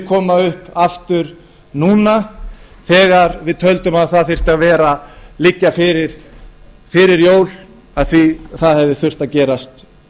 koma upp aftur núna þegar við töldum að það þyrfti að liggja fyrir fyrir jól af því það hefði þurft að gerast